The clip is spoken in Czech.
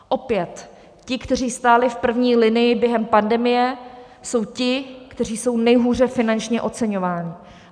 Opět, ti, kteří stáli v první linii během pandemie, jsou ti, kteří jsou nejhůře finančně oceňováni.